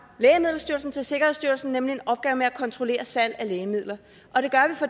lægemiddelstyrelsen til sikkerhedsstyrelsen nemlig en opgave med at kontrollere salg af lægemidler